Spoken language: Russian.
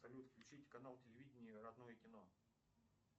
салют включить канал телевидение родное кино